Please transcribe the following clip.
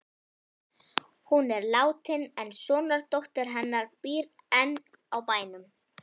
Hún er látin en sonardóttir hennar býr enn á bænum.